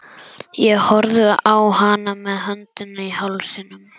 Ég horfði á hana með öndina í hálsinum.